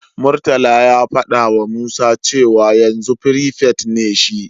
Murtala ya fadawa Musa cewa yanzu firifet ne shi.